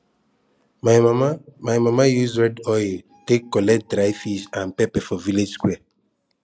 my mama my mama use red oil take collect dry fish and pepper for village square